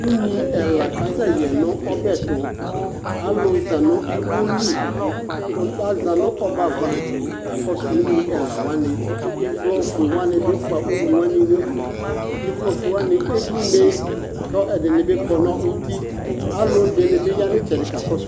Unyi ɛla kasɛyɛ nu ɔbɛtu Alu za nu iwoli ku aza nu ɔbɛ ava kakɔsu unyi ɛlawani ivlɔ ɔfue wani bi fua unyiwani nu udu ivlɔ ɔfue wani eblune ku ɛdini bi kɔ nu uti Alu ɛdini bi ya nu itsɛdi kakɔsu